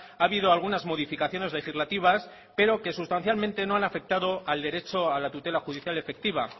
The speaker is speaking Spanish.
ha habido algunas modificaciones legislativas pero que sustancialmente no han afectado al derecho a la tutela judicial efectiva